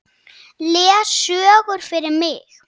Les sögur fyrir mig.